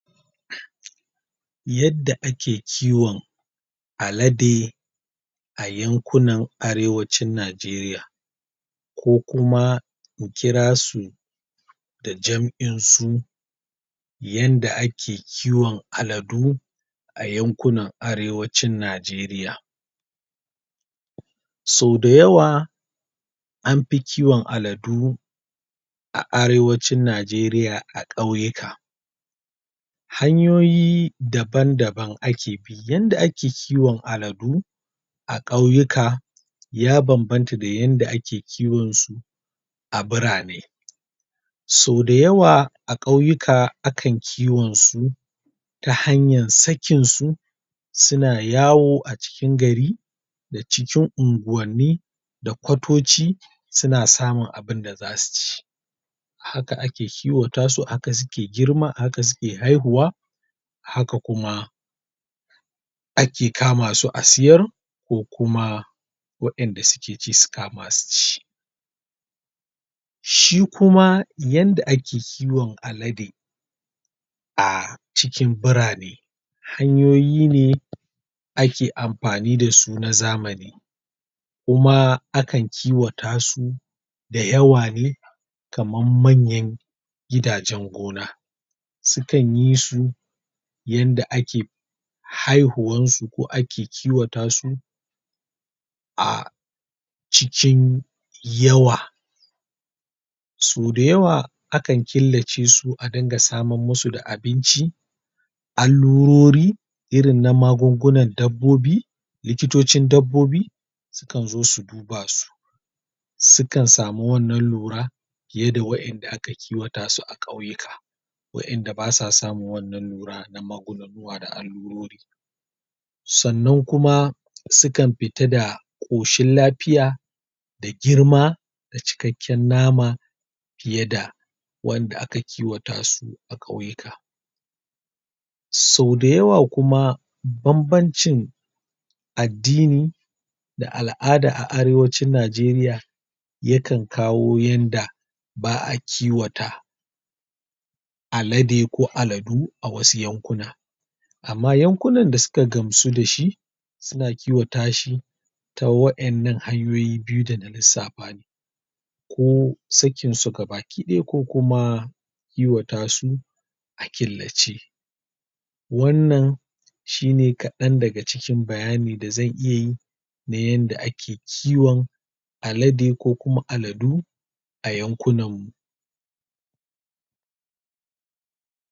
Yadda ake kiwon alade a yankunan Arewacin Najeriya ko kuma in kira su da jam'in su yanda ake kiwon aladu a yankunan Arewacin Najeriya so da yawa an fi kiwon aladu a Arewacin Najeriya a ƙauyuka hanyoyi daban-daban ake bi, yanda ake kiwon aladu a ƙauyuka ya banbanta da yanda ake kiwon su a birane so da yawa a ƙauyuka akan kiwon su ta hanyan sakin su suna yawo a cikin gari da cikin unguwanni da kwatoci suna samun abinda zasu ci haka ake kiwata su, haka suke girma, haka suke haihuwa haka kuma ake kama su a siyar ko kuma waƴanda suke ci su kama su ci shi kuma yanda ake kiwon alade a cikin birane, hanyoyi ne ake amfani da su na zamani kuma akan kiwata su da yawa ne kaman manyan gidajen gona sukan yi su yanda ake haihuwan su ko ake kiwata su a cikin yawa so da yawa akan killace su a dinga saman musu da abinci allurori irin na magungunan dabbobi likitocin dabbobi su kan zo su daba su su kan samu wannan lura fiye da waƴanda aka kiwata su a ƙauyuka waƴanda basa samun wannan lura na maganunnuwa da allurori sannan kuma sukan fita da ƙoshin lafiya da girma da cikakken nama fiye da wanda aka kiwata su a ƙauyuka so da yawa kuma banbancin addini da al'ada a Arewacin Najeriya yakan kawo yanda ba'a kiwata alade ko aladu a wasu yankuna amma yankunan da suka gamsu da shi suna kiwata shi ta waƴannan hanyoyi biyu da na lissafa ne ko sakin su gabakiɗaya ko kuma kiwata su a killace wannan shi ne kaɗan daga cikin bayani da zan iya yi na yanda ake kiwan alade ko kuma aladu a yankunan mu.